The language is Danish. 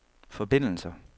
forbindelser